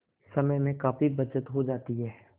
समय में काफी बचत हो जाती है